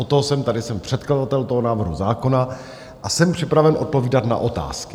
Od toho jsem tady, jsem předkladatel toho návrhu zákona a jsem připraven odpovídat na otázky.